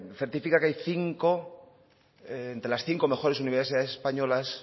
certifica que las cinco mejores universidades españolas